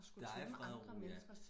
Der er fred og ro ja